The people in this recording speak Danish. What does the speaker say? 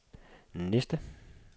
næste